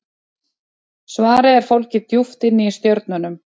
svarið er fólgið djúpt inni í stjörnunum